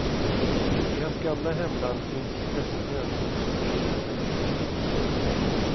I hans gamla hemland finns fästmön, som han ska gifta sig med.